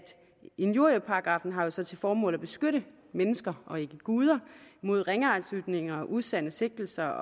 injurieparagraffen har til til formål at beskytte mennesker og ikke guder mod ringeagtsytringer og usande sigtelser jeg